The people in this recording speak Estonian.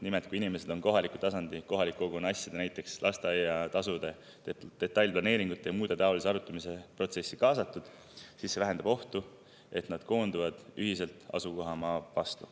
Nimelt, kui inimesed on kohaliku tasandi, kohaliku kogukonna asjade, näiteks lasteaiatasude, detailplaneeringute ja muude taoliste asjade arutamise protsessi kaasatud, siis see vähendab ohtu, et nad koonduvad ühiselt asukohamaa vastu.